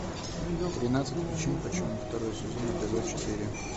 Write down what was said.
тринадцать причин почему второй сезон эпизод четыре